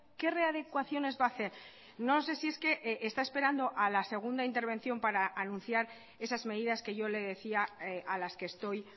qué readecuaciones va hacer no sé si es que está esperando a la segunda intervención para anunciar esas medidas que yo le decía a las que estoy